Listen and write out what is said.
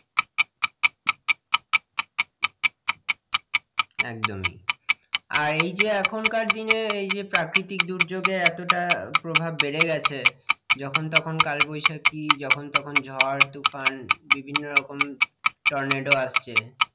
একদমই আহ এই যে এখনকার দিনে এই যে প্রাকৃতিক দুর্যোগে এতটা প্রভাব বেড়ে গেছে যখন তখন কালবৈশাখী, যখন তখন ঝড়, তুফান বিভিন্ন রকম টর্নেডো আসছে,